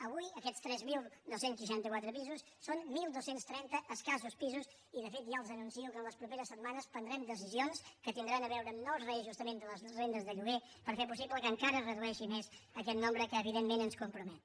avui aquests tres mil dos cents i seixanta quatre pisos són dotze trenta escassos pisos i de fet ja els anuncio que en les properes setmanes prendrem decisions que tindran a veure amb nous reajustaments de les rendes de lloguer per fer possible que encara es redueixi més aquest nombre que evidentment ens compromet